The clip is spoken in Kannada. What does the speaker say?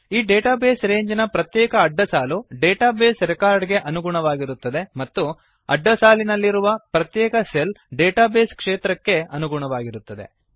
ಈ ಡೇಟಾ ಬೇಸ್ ರೇಂಜ್ ನ ಪ್ರತ್ಯೇಕ ಅಡ್ಡಸಾಲು ಡೇಟಾ ಬೇಸ್ ರೆಕಾರ್ಡ್ ಗೆ ಅನುಗುಣವಾಗಿರುತ್ತದೆ ಮತ್ತು ಅಡ್ಡಸಾಲಿನಲ್ಲಿರುವ ಪ್ರತ್ಯೇಕ ಸೆಲ್ ಡೇಟಾ ಬೇಸ್ ಕ್ಷೇತ್ರಕ್ಕೆ ಅನುಗುಣವಾಗಿರುತ್ತದೆ